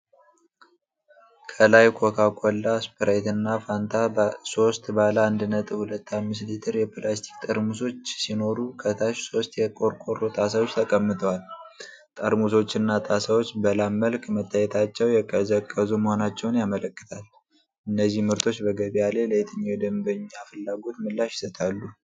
ከላይ ኮካ ኮላ፣ ስፕራይት እና ፋንታ ሶስት ባለ 1.25 ሊትር የፕላስቲክ ጠርሙሶች ሲኖሩ፣ ከታች ሶስት የቆርቆሮ ጣሳዎች ተቀምጠዋል። ጠርሙሶችና ጣሳዎች በላብ መልክ መታየታቸው የቀዘቀዙ መሆናቸውን ያመለክታል። እነዚህ ምርቶች በገበያ ላይ ለየትኛው የደንበኛ ፍላጎት ምላሽ ይሰጣሉ?